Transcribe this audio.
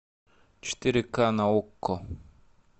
четыре ка на окко